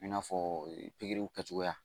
I n'a fɔ pikiriw kɛcogoya